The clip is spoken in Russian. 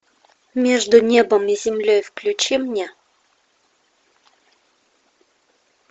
между небом и землей включи мне